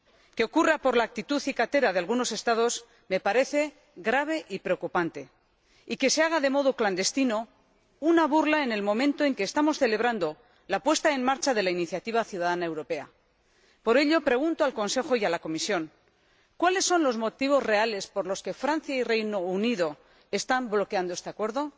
Que ocurra por la actitud cicatera de algunos Estados me parece grave y preocupante, y que se haga de modo clandestino, una burla en el momento en que estamos celebrando la puesta en marcha de la iniciativa ciudadana europea. Por ello, pregunto al Consejo y a la Comisión ¿cuáles son los motivos reales por los que Francia y el Reino Unido están bloqueando este Acuerdo?